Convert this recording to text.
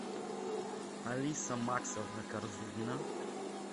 алиса максовна корзунина